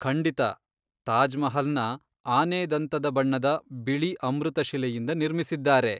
ಖಂಡಿತ. ತಾಜ್ ಮಹಲ್ನ ಆನೆದಂತದ ಬಣ್ಣದ ಬಿಳಿ ಅಮೃತಶಿಲೆಯಿಂದ ನಿರ್ಮಿಸಿದ್ದಾರೆ.